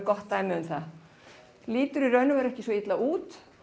gott dæmi lítur í raun ekki svo illa út